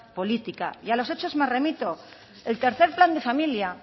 política y a los hechos me remito el tercero plan de familia